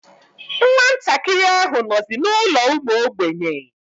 Nwa ntakịrị ahụ nọzi n'ụlọ ụmụ ogbenye.